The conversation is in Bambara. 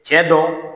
Cɛ dɔ